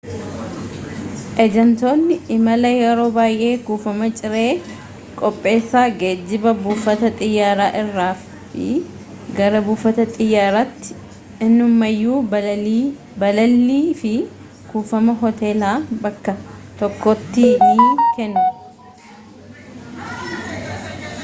ejantoonni imalaa yeroo baayyee kuufama ciree qopheessa geejiba buufata xiyyaara irraa fi gara buufata xiyyaaraattii innumayyuu balallii fi kuufama hoteelaa bakka tokkottii ni kennu